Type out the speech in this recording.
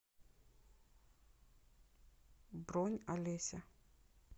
бронь алеся